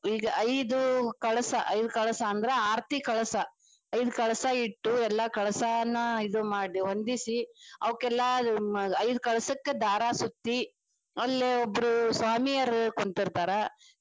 ಈಗ ಐದು ಕಳಸಾ ಐದ ಕಳಸಾ ಅಂದ್ರ ಆರತಿ ಕಳಸಾ ಐದ ಕಳಸಾ ಇಟ್ಟು ಎಲ್ಲಾ ಕಳಸಾನ್ನ್ ಇದು ಮಾಡಿ ಹೊಂದಿಸಿ ಅವಕ್ಕೆಲ್ಲಾ ಐದ ಕಳಸಾಕ್ಕ ದಾರ ಸುತ್ತಿ ಅಲ್ಲಿಯೊಬ್ಬರ ಸ್ವಾಮಿಯರ ಕುಂತಿರ್ತಾರ.